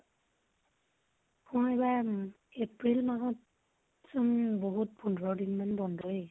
অ । এইবাৰ april মাহত চোন, বহুত পোন্ধৰ দিন মান বন্ধয়ে ।